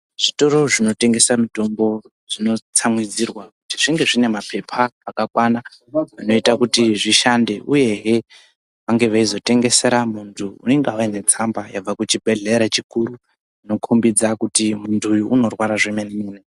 Zvitoro zvinotengesa mitombo, zvinotsamwidzirwa kuti zvinge zvine maphepha akakwana ,anoita kuti zvishande, uyehe, vange veizotengesera muntu unenge auya netsamba yabva kuchibhedhlera chikuru, inokhombidza kuti muntu uyu unorwara zvemene-mene.